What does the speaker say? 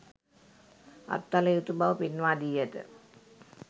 අත්හළ යුතු බව පෙන්වා දී ඇත.